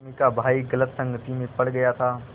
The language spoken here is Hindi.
रश्मि का भाई गलत संगति में पड़ गया था